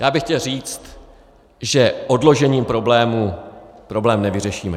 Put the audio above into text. Já bych chtěl říct, že odložením problému problém nevyřešíme.